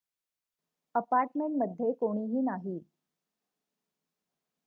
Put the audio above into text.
apartment मध्ये कोणीही नाही